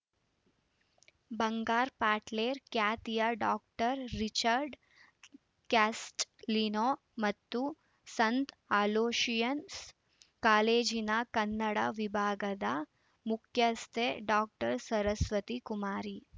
ಬಂಗಾರ್‌ ಪಟ್ಲೇರ್‌ ಖ್ಯಾತಿಯ doctor Richard Castelino ಮತ್ತು ಸಂತ ಅಲೋಶಿಯಸ್‌ ಕಾಲೇಜಿನ ಕನ್ನಡ ವಿಭಾಗದ ಮುಖ್ಯಸ್ಥೆ ಡಾಕ್ಟರ್ ಸರಸ್ವತಿ ಕುಮಾರಿ